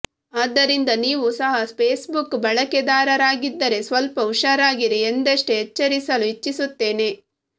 ಆದ್ದರಿಂದ ನೀವು ಸಹ ಫೇಸ್ಬುಕ್ ಬಳಕೆದಾರರಾಗಿದ್ದರೆ ಸ್ವಲ್ಪ ಹುಷಾರಾಗಿರಿ ಎಂದಷ್ಟೇ ಎಚ್ಚರಿಸಲು ಇಚ್ಚಿಸುತ್ತೇನೆ